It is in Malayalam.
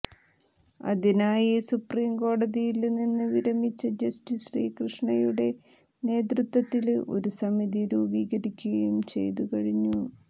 അതിനായി സുപ്രീംകോടതിയില് നിന്ന് വിരമിച്ച ജസ്റ്റീസ് ശ്രീകൃഷ്ണയുടെ നേതൃത്വത്തില് ഒരു സമിതി രൂപീകരിക്കുകയും ചെയ്തുകഴിഞ്ഞു